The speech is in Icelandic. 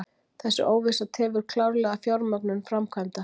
Þessi óvissa tefur klárlega fjármögnun framkvæmda